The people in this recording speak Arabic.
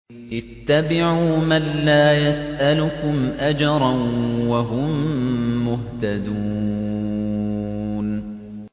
اتَّبِعُوا مَن لَّا يَسْأَلُكُمْ أَجْرًا وَهُم مُّهْتَدُونَ